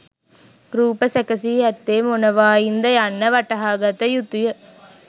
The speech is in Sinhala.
රූප සැකසී ඇත්තේ මොනවායින් ද යන්න වටහාගත යුතු ය.